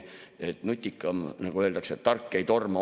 Nutikamad, nagu öeldakse, et tark ei torma.